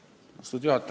Austatud juhataja!